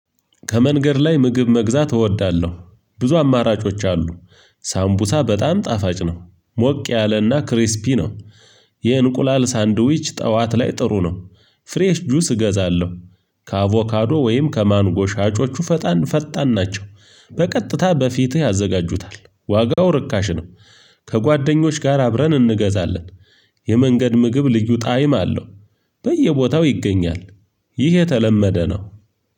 ከመንገድ ላይ ምግብ መግዛት እወዳለሁ። ብዙ አማራጮች አሉ። እስ ሳምቡሳ በጣም ጣፋጭ ነው። ሞቅ ያለና ክሪስፒ ነው። የእንቁላል ሳንድዊች ጠዋት ላይ ጥሩ ነው። ፍሬሽ ጁስ እገዛለሁ። ከአቮካዶ ወይም ከማንጎ ሻጮቹ ፈጣን ፈጣን ናቸው በቀጥታ በፊትህ ያዘጋጁታል ዋጋው ርካሽ ነው። ከጓደኞቼ ጋር አብረን እንገዛለን። የመንገድ ምግብ ልዩ ጣዕም አለው። በየቦታው ይገኛል። ይህ የተለመደ ነው።